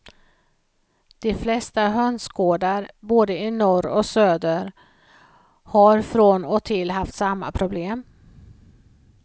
De flesta hönsgårdar både i norr och söder har från och till haft samma problem.